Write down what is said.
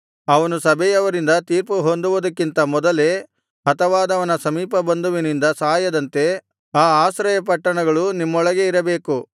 ಅವನು ಸಭೆಯವರಿಂದ ತೀರ್ಪು ಹೊಂದುವುದಕ್ಕಿಂತ ಮೊದಲೇ ಹತವಾದವನ ಸಮೀಪಬಂಧುವಿನಿಂದ ಸಾಯದಂತೆ ಆ ಆಶ್ರಯ ಪಟ್ಟಣಗಳು ನಿಮ್ಮೊಳಗೆ ಇರಬೇಕು